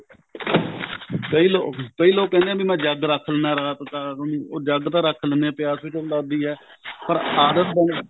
ਕਈ ਲੋਕ ਕਈ ਲੋਕ ਕਹਿੰਦੇ ਨੇ ਵੀ ਮੈਂ ਜੱਗ ਰੱਖ ਲੈਂਦਾ ਰਾਤ ਤਾਂ ਰਾਤ ਨੂੰ ਜੱਗ ਤਾਂ ਰੱਖ ਲੈਂਦੇ ਹਾਂ ਪਿਆਸ ਵੀ ਜਦੋਂ ਲੱਗਦੀ ਐ ਪਰ ਆਦਤ ਬਣੀ